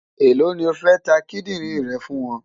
Èló ni o fẹ́ ta kídìrìn rẹ fún wọn?